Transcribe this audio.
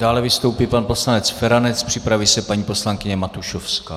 Dále vystoupí pan poslanec Feranec, připraví se paní poslankyně Matušovská.